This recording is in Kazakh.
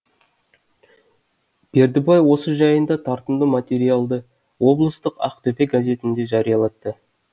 бердібай осы жайында тартымды материалды облыстық ақтөбе газетінде жариялатты